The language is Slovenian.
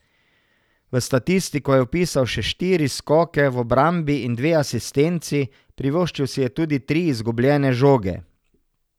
V statistiko je vpisal še štiri skoke v obrambi in dve asistenci, privoščil si je tudi tri izgubljene žoge.